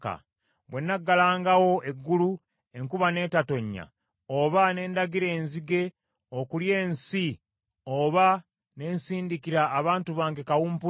“Bwe nnaggalangawo eggulu enkuba n’etatonnya, oba ne ndagira enzige okulya ensi oba ne nsindikira abantu bange kawumpuli,